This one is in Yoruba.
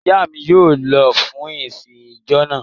Ìyá mi yóò lọ fún ìsìn ìjọ náà.